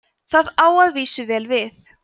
það á að vísu vel við